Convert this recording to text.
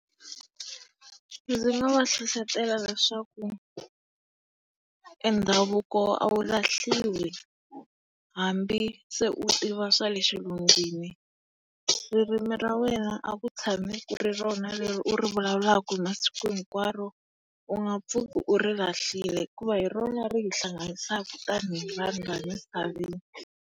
Ndzi nga va hlohlotela leswaku e ndhavuko a wu lahliwi hambi se u tiva swa le xilungwini. Ririmi ra wena a ku tshami ku ri rona leri u ri vulavulaka hi masiku hi nkwaro, u nga pfuki u ri lahlile hikuva hi rona ri hi hlanganisaka tanihi vanhu laha misaveni.